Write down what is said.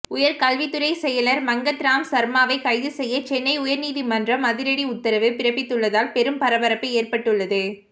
உயர்கல்வித்துறைச் செயலர் மங்கத்ராம்சர்மாவை கைது செய்ய சென்னை உயர்நீதிமன்றம் அதிரடி உத்தரவு பிறப்பித்துள்ளதால் பெரும் பரபரப்பு ஏற்பட்டுள்ளது